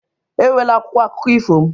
Ewela akwụkwọ akụkọ ifo m!